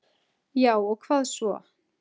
Já og hvað svo?